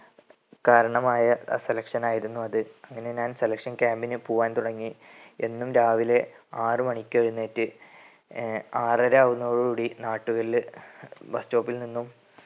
കാരണമായ അ selection ആയിരുന്നു അത്. അങ്ങനെ ഞാൻ selection camp ന് പോവാൻ തുടങ്ങി. എന്നും രാവിലെ ആറ് മണിക്കെഴുന്നേറ്റ് ഏർ ആറര ആകുന്നതോടു കൂടി നാട്ടുകലിലെ ബസ് സ്റ്റോപ്പിൽ നിന്നും